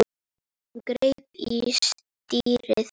Hún greip í stýrið.